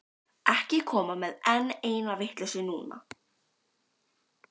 Ekki koma með enn eina vitleysuna núna.